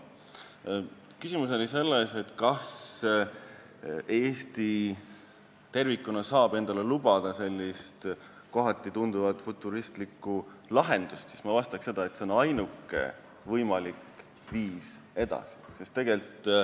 Kui küsimus oli selles, kas Eesti tervikuna saab endale lubada sellist kohati futuristlikuna tunduvat lahendust, siis ma vastan, et see on ainuke võimalik viis minna edasi.